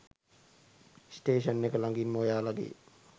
station එක ලඟින්ම ඔයාලගේ